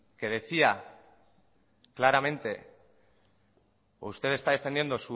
que decía claramente usted está defendiendo